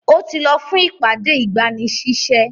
Ó ti lọ fún ìpàdé-ìgbanisísẹ́.